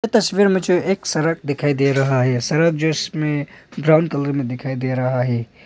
तस्वीर में जो एक सड़क दिखाई दे रहा है सड़क जिसमें ब्राउन कलर मे भी दिखाई दे रहा है।